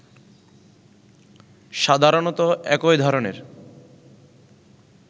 সাধারণতঃ একই ধরনের